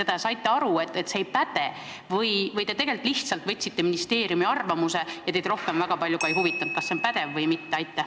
Kas te saite aru, et see ei päde, või te lihtsalt võtsite ministeeriumi arvamuse ja teid suurt ei huvitanud, kas see on pädev või mitte?